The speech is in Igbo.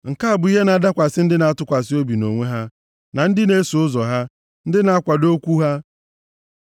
Nke a bụ ihe na-adakwasị ndị na-atụkwasị obi nʼonwe ha, na ndị na-eso ụzọ ha, ndị na-akwado okwu ha. Sela